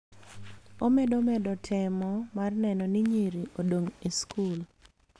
Omedo medo temo mar neno ni nyiri odong� e skul,